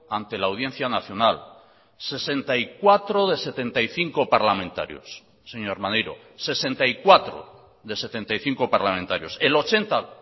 ante la audiencia nacional sesenta y cuatro de setenta y cinco parlamentarios señor maneiro sesenta y cuatro de setenta y cinco parlamentarios el ochenta